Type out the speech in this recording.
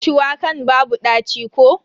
Shuwakan babu ɗaci ko?